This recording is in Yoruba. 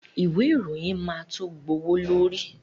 Ìwé ìròyìn máa to gbówó lóri.